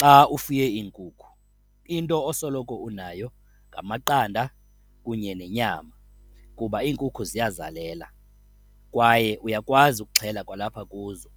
Xa ufuye iinkukhu, into osoloko unayo ngamaqanda kunye nenyama kuba iinkukhu ziyazalela kwaye uyakwazi ukuxhela kwalapha kuzo.